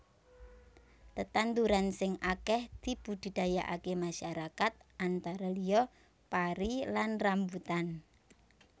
Tetandhuran sing akèh dibudidayaaké masyarakat antara liya pari lan rambutan